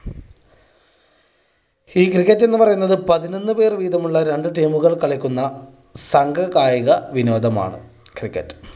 ഈ cricket എന്ന് പറയുന്നത് പതിനൊന്ന് പേര് വീതമുള്ള രണ്ട് team കൾ കളിക്കുന്ന സംഘകായിക വിനോദമാണ് cricket.